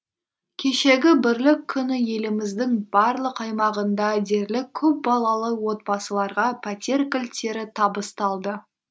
кешегі бірлік күні еліміздің барлық аймағында дерлік көпбалалы отбасыларға пәтер кілттері табысталды